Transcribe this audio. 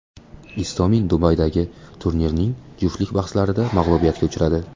Istomin Dubaydagi turnirning juftlik bahslarida mag‘lubiyatga uchradi.